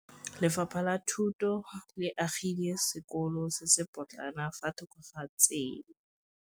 Lefapha la Thuto le agile sekôlô se se pôtlana fa thoko ga tsela.